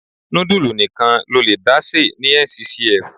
Nudulu nìkan lo lè dá se ní Nccf.